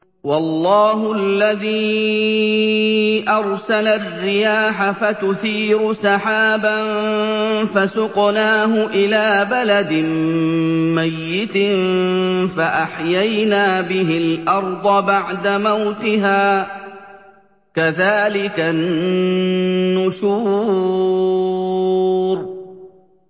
وَاللَّهُ الَّذِي أَرْسَلَ الرِّيَاحَ فَتُثِيرُ سَحَابًا فَسُقْنَاهُ إِلَىٰ بَلَدٍ مَّيِّتٍ فَأَحْيَيْنَا بِهِ الْأَرْضَ بَعْدَ مَوْتِهَا ۚ كَذَٰلِكَ النُّشُورُ